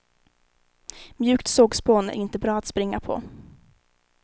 Mjukt sågspån är inte bra att springa på.